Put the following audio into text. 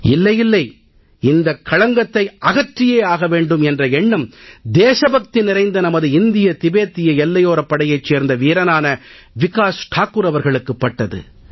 இல்லை இல்லை இந்தக் களங்கத்தை அகற்றியாக வேண்டும் என்ற எண்ணம் தேசபக்தி நிறைந்த நமது இந்திய திபத்திய எல்லையோரப் படையைச் சேர்ந்த வீரனான விகாஸ் தாக்கூர் அவர்களுக்குப் பட்டது